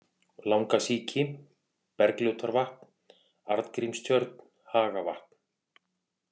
Langasíki, Bergljótarvatn, Arngrímstjörn, Hagavatn